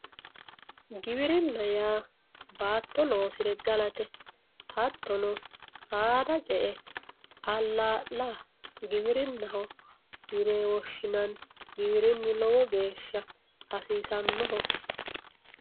giwirinna yaa baatto loosire galate hattono saada ce"e alaa''la giwirinnaho yine woshshinanni giwirinnu lowo geeshsha hasiissannoho.